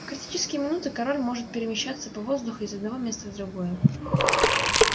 в критические минуты король может перемещаться по воздуху из одного места в другое